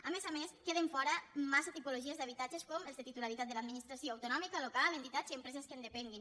a més a més queden fora massa tipologies d’habitatges com els de titularitat de l’administració autonòmica local entitats i empreses que en depenguin